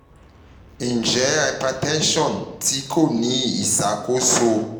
njẹ hypertension ti ko ni iṣakoso